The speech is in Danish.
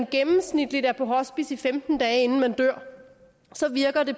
gennemsnitligt er på hospice i femten dage inden han dør så virker det